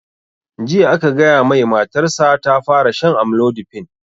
Jiya aka gaya mai matar sa ta fara shan amlodipine